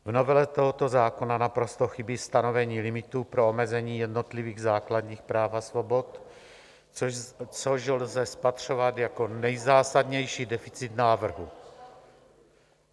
V novele tohoto zákona naprosto chybí stanovení limitu pro omezení jednotlivých základních práv a svobod, což lze spatřovat jako nejzásadnější deficit návrhu.